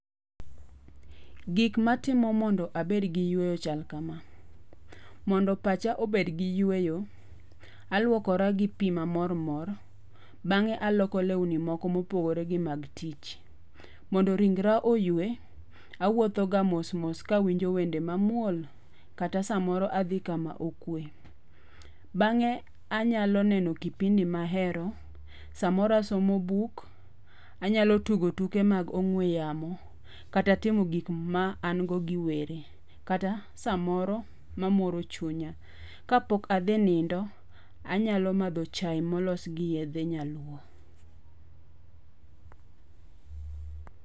Gik matimo mondo abed gi yueyo chal kama. Mondo pacha obed gi yueyo, alwokora gi pi mamormor, bang'e aloko lewni moko mopogore gi mag tich. Mondo ringra oyue, awotho ga mosmos kawinjo wende mamuol, kata samoro adhi kama okue. Bang'e anyalo neno kipindi mahero. Samoro, asomo buk, anyalo tugo tuke mag ong'we yamo, kata timo gik ma an go gi were, kata samoro mamoro chunya. Kapok adhi nindo, anyalo madho chaye molos gi yedhe nyaluo.